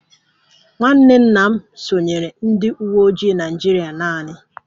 Nwanne nna m sonyeere ndị uwe ojii Naịjirịa naanị